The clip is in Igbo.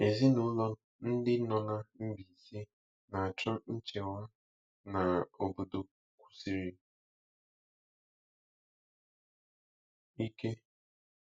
Ezinụlọ ndị nọ na Mbaise na-acho nchewa na obodo kwusiri ike